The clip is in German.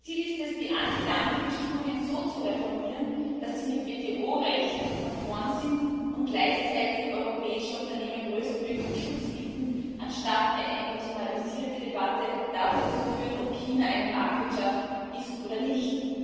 Das Ziel ist es, die Antidumpingbestimmungen so zu reformieren, dass sie mit WTO Recht konform sind und gleichzeitig europäischen Unternehmen größtmöglichen Schutz bieten, anstatt eine emotionalisierte Debatte darüber zu führen, ob China eine Marktwirtschaft ist oder nicht.